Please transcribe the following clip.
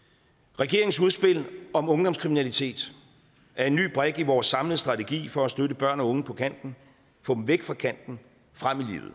regeringens udspil om ungdomskriminalitet er en ny brik i vores samlede strategi for at støtte børn og unge på kanten få dem væk fra kanten